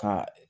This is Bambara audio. Ka